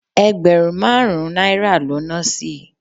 Ẹgbẹ̀rún márùn-ún náírà ló na sí